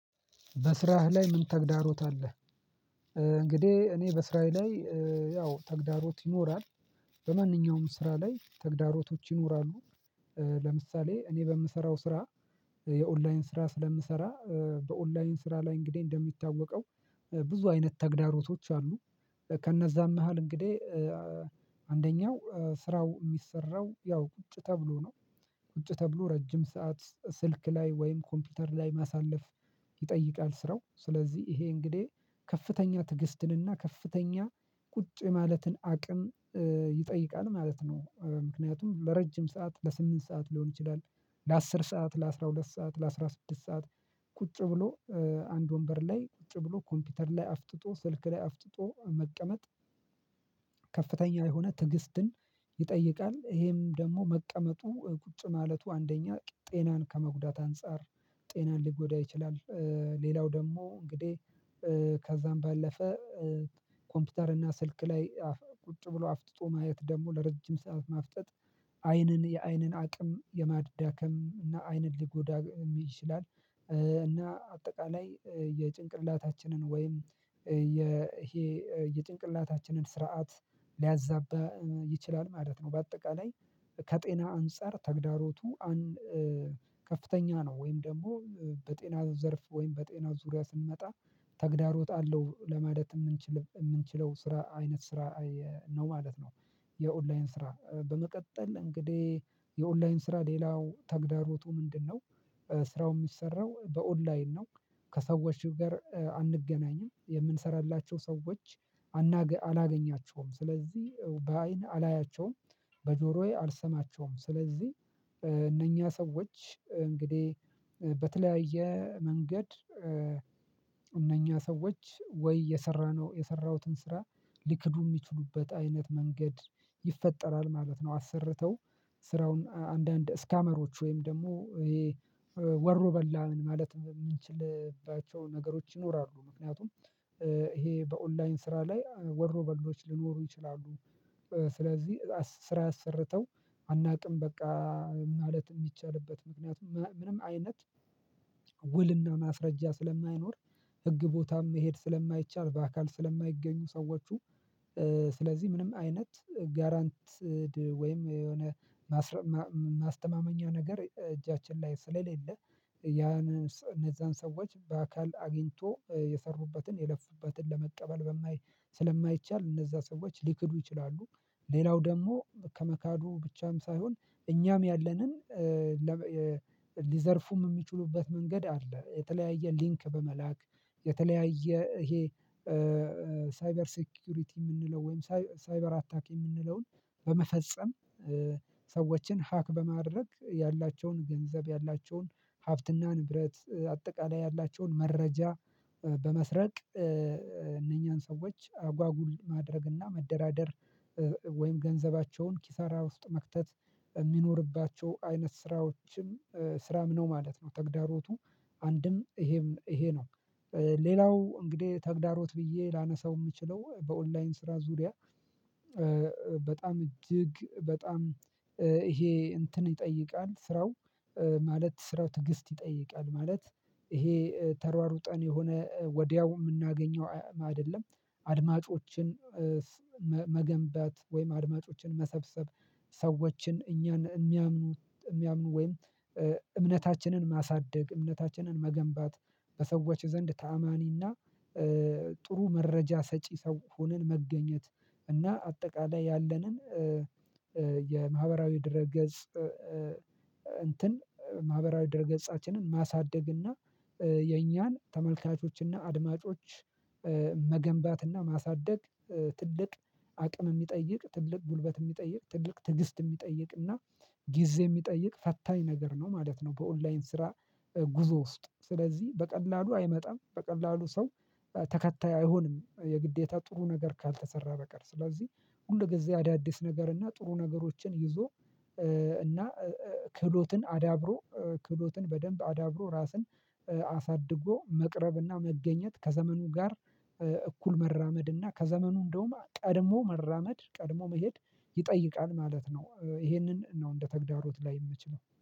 በስራህ ላይ ምን ተግዳሮት አለህ? እንግዲህ እኔ በስራዬ ላይ ያው ተግዳሮት ይኖራል በማንኛውም ስራ ላይ ተግዳሮቶች ይኖራሉ። ለምሳሌ እኔ በምሰራው ስራ የኦንላይን ስራ ስለምሰራ በኦንላይን ስራ ላይ እንግዲህ እንደሚታወቀው ብዙ አይነት ተግዳሮቶች አሉ ከነዛም መሃል እንግዲህ አንደኛው ስራው የሚሰራው ያው ቁጭ ተብሎ ነው ቁጭ ተብሎ ረጅም ሰዓት ስልክ ላይ ወይም ኮምፒውተር ላይ ማሳለፍ ይጠይቃል ስራው ስለዚህ ይሄ እንግዲህ ከፍተኛ ትግስትንና ከፍተኛ ቁጭ ማለትን አቅም ይጠይቃል ማለት ነው ምክንያቱም ለረጅም ሰዓት ለስምንት ሰዓት ሊሆን ይችላል። ለአስር ሰዓት ለአስራ ሁለት ሰዓት ለአስራ ስድስት ሰዓት ቁጭ ብሎ አንድ ወንበር ላይ ቁጭ ብሎ ኮምፒውተር ላይ አፍጥጦ ስልክ ላይ አፍጥጦ መቀመጥ ከፍተኛ የሆነ ትዕግስትን ይጠይቃል ይሄም ደግሞ መቀመጡ ቁጭ ማለቱ አንደኛ ጤናን ከመጉዳት አንፃር ጤናን ሊጎዳ ይችላል። ሌላው ደግሞ እንግዲህ ከዛም ባለፈ ኮምፒውተር እና ስልክ ላይ ቁጭ ብሎ አፍጥጦ ማየት ደግሞ ለረጅም ሰዓት ማፍጠጥ አይንን የአይንን አቅም የማዳከም እና አይንን ሊጎዳ ይችላል እና አጠቃላይ የጭንቅላታችንን ወይም ይሄ የጭንቅላታችንን ስርዓት ሊያዛባ ይችላል ማለት ነው። በአጠቃላይ ከጤና አንፃር ተግዳሮቱ አንድ ከፍተኛ ነው ወይም ደግሞ በጤና ዘርፍ ወይም በጤና ዙሪያ ስንመጣ ተግዳሮት እለው ለማለት የምንችለው ስራ አይነት ስራ ነው ማለት ነው። የኦንላይን ስራ በመቀጠል እንግዲህ የኦንላይን ስራ ሌላው ተግዳሮቱ ምንድነው? ስራው የሚሰራው በኦንላይን ነው ከሰዎች ጋር አንገናኝም የምንሰራላቸው ሰዎች አላገኛቸውም ስለዚህ በአይን አላያቸውም በጆሮዬ አልሰማቸውም ስለዚህ እነኛ ሰዎች እንግዲህ በተለያየ መንገድ እነኛ ሰዎች ወይ የሰራነው የሰራሁትን ስራ ሊክዱ የሚችሉበት አይነት መንገድ ይፈጠራል ማለት ነው። አሰርተው ስራውን አንዳንድ ስካመሮች ወይም ደግሞ ወሮ በላ ማለት የምንችልባቸው ነገሮች ይኖራሉ ምክንያቱም ይሄ በኦንላይን ስራ ላይ ወሮ በሎች ሊኖሩ ይችላሉ። ስለዚህ ስራ አሰርተው አናውቅም በቃ ማለት የሚቻልበት ምክንያት ምንም አይነት ውልና ማስረጃ ስለማይኖር ህግ ቦታም መሄድ ስለማይቻል በአካል ስለማይገኙ ሰዎች ስለዚህ ምንም አይነት ጋራንትድ ወይም የሆነ ማስተማመኛ ነገር እጃችን ላይ ስለሌለ ያንን እነዛን ሰዎች በአካል አግኝቶ የሰሩበትን የለፉበትን ለመቀበል ስለማይቻል እነዛ ሰዎች ሊክዱ ይችላሉ። ሌላው ደግሞ ከመካዱ ብቻም ሳይሆን እኛም ያለንን ሊዘርፉም የሚችሉበት መንገድ አለ የተለያየ ሊንክ በመላክ የተለያየ ይሄ ሳይበር ሴኩሪቲ የምንለው ወይም ሳይበር አታክ የምንለውን በመፈጸም ሰዎችን ሀክ በማድረግ ያላቸውን ገንዘብ ያላቸውን ሀብትና ንብረት አጠቃላይ ያላቸውን መረጃ በመስረቅ እነኛን ሰዎች አጓጉል ማድረግና መደራደር ወይም ገንዘባቸውን ኪሳራ ውስጥ መክተት በሚኖርባቸው አይነት ስራዎችም ስራም ነው ማለት ነው ተግዳሮቱ አንድም ይሄም ይሄ ነው። ሌላው እንግዲህ ተግዳሮት ብዬ ላነሳው የምችለው በኦንላይን ስራ ዙሪያ በጣም እጅግ በጣም ይሄ እንትን ይጠይቃል ስራው ማለት ስራው ትዕግስት ይጠይቃል ማለት ይሄ ተሯሩጠን የሆነ ወዲያው የምናገኘው አይደለም። አድማጮችን መገንባት ወይም አድማጮችን መሰብሰብ ሰዎችን እኛን የሚያምኑ ወይም እምነታችንን ማሳደግ እምነታችንን መገንባት በሰዎች ዘንድ ታማኒና ጥሩ መረጃ ሰጪ ሰው ሆነን መገኘት እና አጠቃላይ ያለንን የማህበራዊ ድረ ገጽ እንትን ማህበራዊ ድረ ገጻችንን ማሳደግ እና የእኛን ተመልካቾች እና አድማጮች መገንባት እና ማሳደግ ትልቅ አቅም የሚጠይቅ ትልቅ ጉልበት የሚጠይቅ ትልቅ ትዕግስት የሚጠይቅና ጊዜ የሚጠይቅ ፈታኝ ነገር ነው ማለት ነው። በኦንላይን ስራ ጉዞ ውስጥ ስለዚህ በቀላሉ አይመጣም በቀላሉ ሰው ተከታይ አይሆንም የግዴታ ጥሩ ነገር ካልተሰራ በቀር ስለዚህ ሁል የገዛ አዳዲስ ነገር እና ጥሩ ነገሮችን ይዞ እና ክህሎትን አዳብሮ ክህሎትን በደንብ አዳብሮ ራስን አሳድጎ መቅረብና መገኘት ከዘመኑ ጋር እኩል መራመድና ከዘመኑ እንደውም ቀድሞ መራመድ ቀድሞ መሄድ ይጠይቃል ማለት ነው። ይሄንን ነው እንደ ተግዳሮት ላይ የምችለው